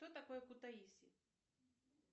что такое кутаиси